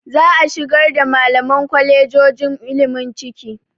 Za a shigar da malaman kwalejojon ilimi ciki.